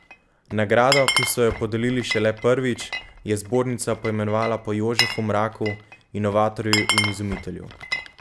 Nagrado, ki so jo podelili šele prvič, je zbornica poimenovala po Jožefu Mraku, inovatorju in izumitelju.